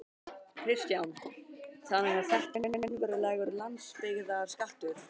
Kristján: Þannig að þetta er raunverulegur landsbyggðarskattur?